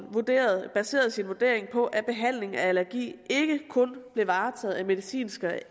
baserede sin vurdering på at behandling af allergi ikke kun blev varetaget af medicinske